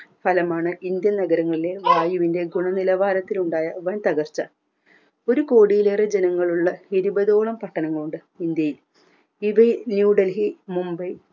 സ്ഥലമാണ് ഇന്ത്യൻ നഗരങ്ങളിലെ വായുവിൻറെ ഗുണനിലവാരത്തിലുണ്ടായ വൻ തകർച്ച ഒരുകോടിയിലേറെ ജനങ്ങളുള്ള ഇരുപതോളം പട്ടണങ്ങളുണ്ട് ഇന്ത്യയിൽ ഇത് new delhi mumbai